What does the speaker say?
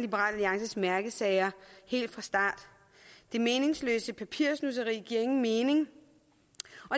liberal alliances mærkesager helt fra start det meningsløse papirnusseri giver ingen mening og